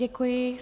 Děkuji.